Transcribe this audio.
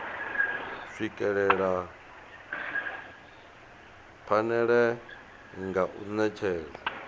swikelela phanele nga u netshedza